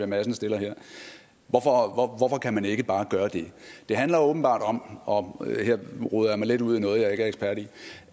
madsen stiller her hvorfor kan man ikke bare gøre det det handler åbenbart om og her roder jeg mig lidt ud i noget jeg ikke er ekspert i